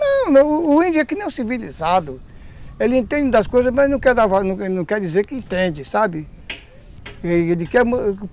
Não, não, o índio é que nem um civilizado, ele entende das coisas, que entende, sabe?